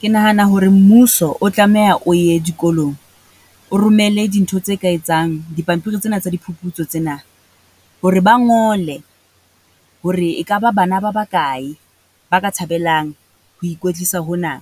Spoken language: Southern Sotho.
Ke nahana hore mmuso o tlameha o ye dikolong, o romele dintho tse ka etsang dipampiri tsena tsa di phuputso tsena, hore ba ngole hore e ka ba bana ba ba kae ba ka thabelang ho ikwetlisa hona?